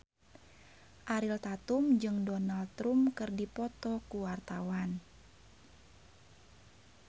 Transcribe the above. Ariel Tatum jeung Donald Trump keur dipoto ku wartawan